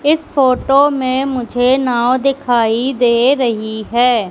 इस फोटो में मुझे नाव दिखाई दे रही है।